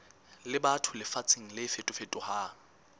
le batho lefatsheng le fetofetohang